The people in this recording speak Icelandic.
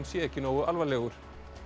sé ekki nógu alvarlegur